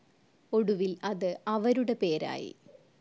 ഒടുവിൽ അത് അവരുടെ പേരായി.